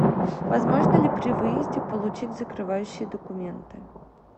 возможно ли при выезде получить закрывающие документы